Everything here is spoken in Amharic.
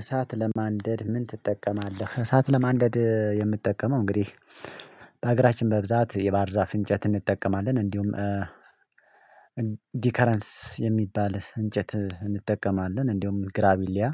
እሳት ለማንደድ ምን ትጠቀማለህ? እሳት ለማንደድ የምትጠቀመው እንግዲህ በሀገራችን በብዛት የባህር ዛፍ እንጨት እንጠቀማለን እንዲሁም ዲከረንስ የሚባል እንጨት እንጠቀማለን። እንደውም ግራቢሊያ።